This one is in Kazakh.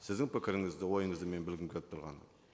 сіздің пікіріңізді ойыңызды мен білгім келіп тұрғаны